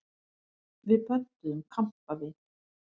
Við pöntuðum kampavín.